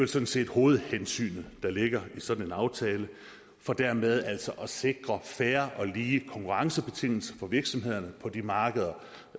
sådan set hovedhensynet der ligger i sådan en aftale for dermed altså at sikre fair og lige konkurrencebetingelser for virksomhederne på de markeder